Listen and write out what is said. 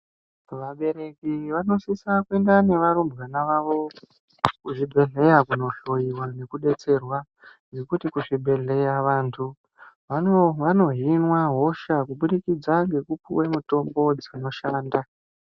Vabereki wanosisa kuenda nevarumbwana wavo kuzvibhedhleya kunohloyiwa nekudetserwa ngekuti kuzvibhedhleya vantu vanohinwa hosha kubudikidza ngekupihwe mitombo dzinoshanda.